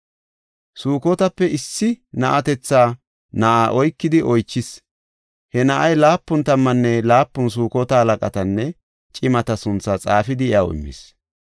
Sukotape issi na7atetha na7aa oykidi oychis. He na7ay laapun tammanne laapun Sukota halaqatanne cimata sunthaa xaafidi iyaw immis.